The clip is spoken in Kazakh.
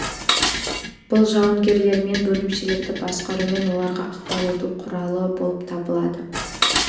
бұл жауынгерлер мен бөлімшелерді басқару мен оларға ықпал ету құралы болып табылады